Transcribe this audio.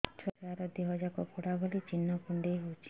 ଛୁଆର ଦିହ ଯାକ ପୋଡା ଭଳି ଚି଼ହ୍ନ କୁଣ୍ଡେଇ ହଉଛି